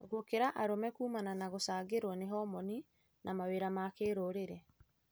Gũkĩra arũme kũmana na gũcangĩrwo nĩ homini na mawĩra ma kĩrũrĩrĩ.